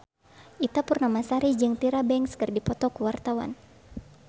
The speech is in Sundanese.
Ita Purnamasari jeung Tyra Banks keur dipoto ku wartawan